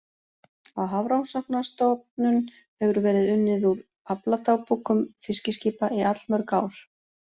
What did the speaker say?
Á Hafrannsóknastofnun hefur verið unnið úr afladagbókum fiskiskipa í allmörg ár.